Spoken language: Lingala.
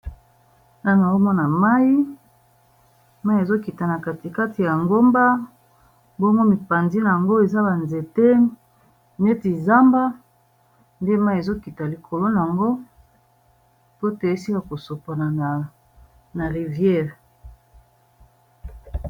Na naomo na mai, mai ezokita na katikati ya ngomba bomo mipandina yango eza banzete neti zamba nde mai ezokita likolo na yango po toyesika kosopona na rivière